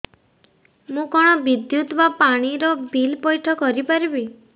ମୁ କଣ ବିଦ୍ୟୁତ ବା ପାଣି ର ବିଲ ପଇଠ କରି ପାରିବି